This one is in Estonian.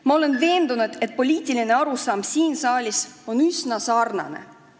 Ma olen veendunud, et poliitiline arusaam siin saalis on üsna sarnane.